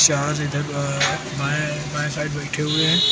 चार इधर अ बाएं बाएं साइड बैठे हुए हैं।